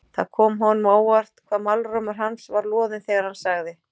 Það kom honum á óvart hvað málrómur hans var loðinn þegar hann sagði